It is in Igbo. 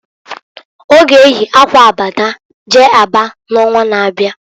Ọ ga eyi akwa aba jee Aba n'onwa na-abia.